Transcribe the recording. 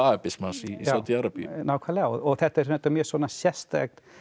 wahabismans í Sádi Arabíu nákvæmlega þetta er mjög svona sérstakt